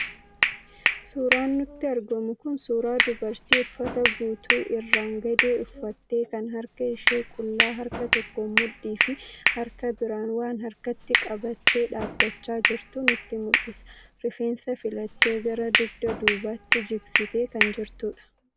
Suuraan nutti argamu kun suuraa dubartii uffata guutuu irraan gadee uffattee, kan harka ishee qullaa harka tokkoon mudhii fi harka biraan waa harkatti qabattee dhaabachaa jirtuu nutti mul'isa. Rifeensa filattee gara dugda duubaatti jigsitee kan jirtudha.